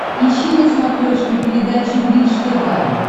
ищи на смотрешке передачу бридж тв